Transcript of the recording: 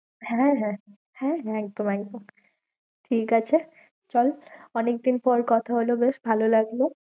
হ্যাঁ, হ্যাঁ, হ্যাঁ, হ্যাঁ একদম একদম ঠিক আছে, চল অনেকদিন পর কথা হলো বেশ ভালো লাগলো।